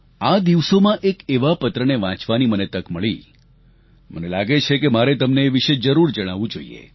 આ દિવસોમાં એક એવા પત્રને વાંચવાની મને તક મળી મને લાગે છે કે મારે તમને એ વિષે જરૂર જણાવવું જોઈએ